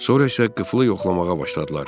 Sonra isə qıflı yoxlamağa başladılar.